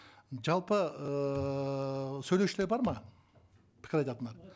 жалпы ыыы сөйлеушілер бар ма пікір айтатындар